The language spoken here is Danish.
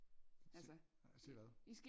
se se hvad